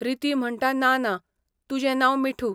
रिती म्हणटा ना ना, तुजें नांव मिठू.